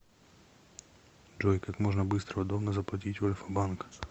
джой как можно быстро и удобно заплатить в альфабанк